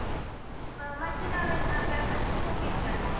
ಹ ಮತ್ತೆ ನಾವೆಲ್ಲ ಪ್ರವಾಸಕ್ ಹೋಗಿದ್ವಲ್ಲ?